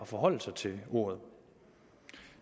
forholde sig til ordet